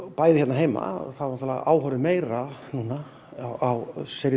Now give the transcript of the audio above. bæði hérna heima er áhorfið meira á seríu